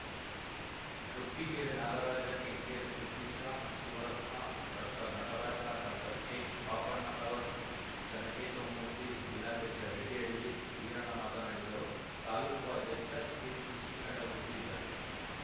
ಕಬ್ಬಿಗೆರೆ ನಾಗರಾಜ ಕೆಂಕೆರೆ ಸತೀಶ ಶಿವರತ್ನ ಡಾಕ್ಟರ್ನಟರಾಜ ಡಾಕ್ಟರ್ಕೆಪಾಪಣ್ಣನವರ್‌ ಚೆನ್ನಕೇಶವ ಮೂರ್ತಿ ಜಿಲ್ಲಾಧ್ಯಕ್ಷ ರೆಡ್ಡಿಹಳ್ಳಿ ವೀರಣ್ಣ ಮಾತನಾಡಿದರು ತಾಲೂಕು ಅಧ್ಯಕ್ಷ ಕೆಸಿಶ್ರೀಕಂಠಮೂರ್ತಿ ಇದ್ದರು